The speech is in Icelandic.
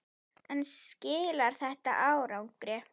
En skilar þetta árangri?